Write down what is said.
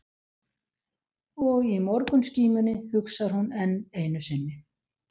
Og í morgunskímunni hugsar hún enn einu sinni